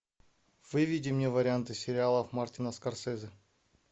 выведи мне варианты сериалов мартина скорсезе